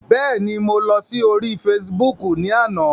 Bẹ́ẹ̀ ni, mo lọ sí orí Facebook ni àná.